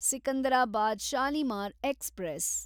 Secunderabad Shalimar express